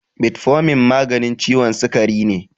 Metformin maganin ciwon sikari ne